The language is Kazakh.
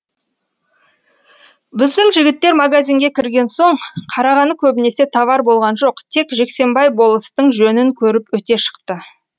біздің жігіттер магазинге кірген соң қарағаны көбінесе товар болған жоқ тек жексенбай болыстың жөнін көріп өте шықты